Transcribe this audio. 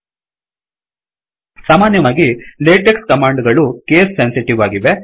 ಸಾಮಾನ್ಯವಾಗಿ LaTeX command ಗಳು case sensitive ಆಗಿವೆ